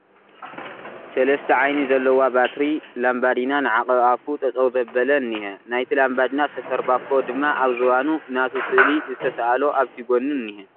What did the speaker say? ሰለስተ ዓይኒ ዘለዊ ባትሪ ላምባዲና ንዓቐብ ኣፉ ጠጠው ዘበለ እንሄ ፡ ናይቲ ላምባዲና ሰፈር ባኮ ድማ ኣብዝባኑ ናቱ ስእሊ ዝተሰኣሎ ኣብቲ ጎኑ እንሄ ።